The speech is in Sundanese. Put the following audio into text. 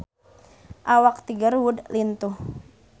Awak Tiger Wood lintuh